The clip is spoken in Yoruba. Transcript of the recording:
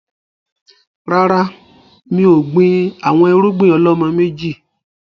Rárá, mi ò gbìn àwọn irúgbìn ọ̀lọ́mọ méjì